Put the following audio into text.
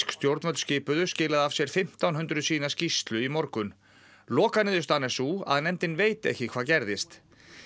stjórnvöld skipuðu skilaði af sér fimmtán hundruð síðna skýrslu í morgun lokaniðurstaðan er sú að nefndin veit ekki hvað gerðist